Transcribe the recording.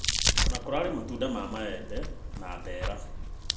Ona kũrarĩ na matunda ma maembe na mbera